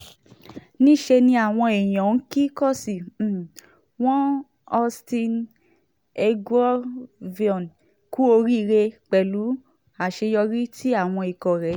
níṣẹ́ ni àwọn èèyàn ń kí kóòsì um wọn austin eguavoen kú oríire um pẹ̀lú àṣeyọrí tí àwọn ikọ̀ rẹ̀ ṣe